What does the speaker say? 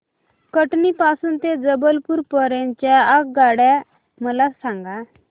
कटनी पासून ते जबलपूर पर्यंत च्या आगगाड्या मला सांगा